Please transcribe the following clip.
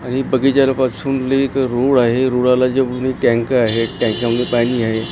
आणि बगीचार पासून एक रूळ आहे रुळाला टेकून एक टँकर आहे त्याच्या मध्ये पाणी आहे.